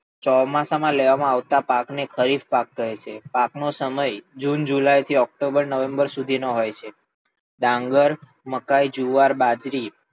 ચોમાસા માં લેવામાં આવતા પાક ને ખરીફ પાક કહે છે. પાક નો સમય જૂન, જુલાય થી ઓકટોબર, નવેમ્બર નો હોય છે, ડાંગર, મકાઇ, જુવાર, બાજરી,